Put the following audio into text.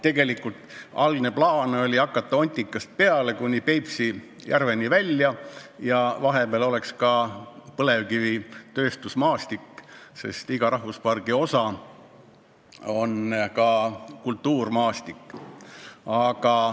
Tegelikult oli algne plaan hakata Ontikast peale ja minna kuni Peipsi järveni välja, vahepeale jäänuks ka põlevkivitööstusmaastik, sest iga rahvuspargi osa on kultuurmaastik.